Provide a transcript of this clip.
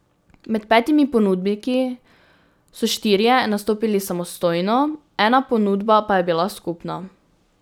Med petimi ponudniki so štirje nastopili samostojno, ena ponudba pa je bila skupna.